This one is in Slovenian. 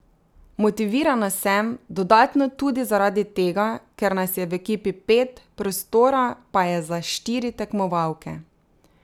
Motivirana sem, dodatno tudi zaradi tega, ker nas je v ekipi pet, prostora pa je za štiri tekmovalke.